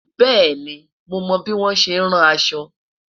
bẹẹni, mo mo bi wọn ṣẹ ràn aṣọ